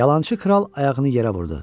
Yalançı kral ayağını yerə vurdu.